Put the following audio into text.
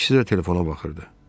İkisi də telefona baxırdı.